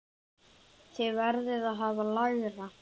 Þið verðið að hafa lægra.